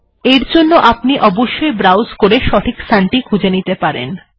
এর জন্য আপনি অবশ্যই ব্রাউস করে সঠিক স্থানটি খুঁজে নিতে পারেন